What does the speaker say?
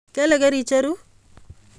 Kele kericheru?